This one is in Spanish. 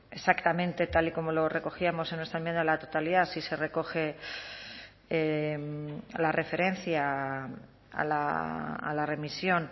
exactamente tal y como lo recogíamos en nuestra enmienda a la totalidad sí se recoge la referencia a la remisión